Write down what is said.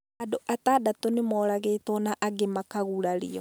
Andũ atandatũ nĩ moragĩtwo na angĩ makagurario.